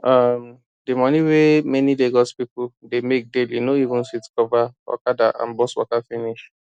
um the money wey many lagos people dey make daily no even fit cover okada and bus waka finish